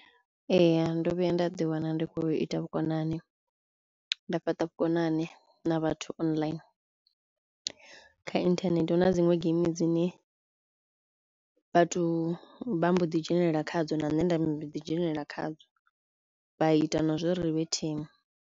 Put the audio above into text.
Ee ndo vhuya nda ḓi wana ndi khou ita vhukonani nda fhaṱa vhukonani na vhathu online, kha inthanethe hu na dziṅwe geimi dzine vhathu vha mbo ḓi dzhenelela khadzo na nne nda mbo ḓi dzhenelela khadzo vha ita na zwo ri ri vhe thimu.